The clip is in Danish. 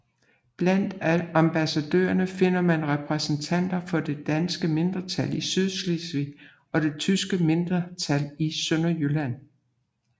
Blandt ambassadørerne finder man repræsentanter for det danske mindretal i Sydslesvig og det tyske mindretal i Sønderjylland